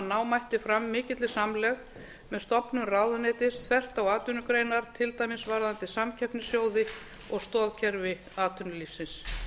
ná mætti fram mikilli samlegð með stofnun ráðuneytis þvert á atvinnugreinar til dæmis varðandi samkeppnissjóði og stoðkerfi atvinnulífsins